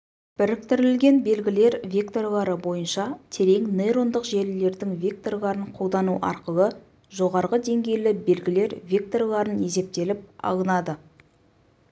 біріктірілген белгілер векторлары бойынша терең нейрондық желілердің векторларын қолдану арқылы жоғарғы деңгейлі белгілер векторларын есептеліп алынады